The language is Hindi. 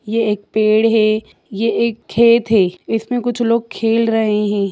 ये एक पेड़ है ये एक खेत है इसमें कुछ लोग खेल रहे हैं।